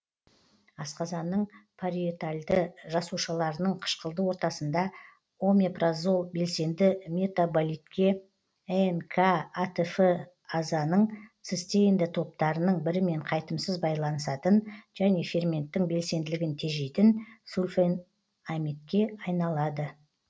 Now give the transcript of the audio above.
асқазанның париетальді жасушаларының қышқылды ортасында омепразол белсенді метаболитке н к атф азаның цистеинді топтарының бірімен қайтымсыз байланысатын және ферменттің белсенділігін тежейтін сульфенамидке айналады